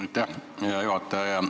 Aitäh, hea juhataja!